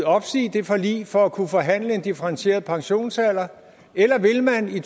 opsige det forlig for at kunne forhandle en differentieret pensionsalder eller vil man i